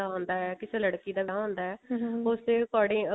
ਹੁੰਦਾ ਹੈ ਕਿਸੇ ਲੜਕੀ ਦਾ ਵਿਆਹ ਹੁੰਦਾ ਹੈ according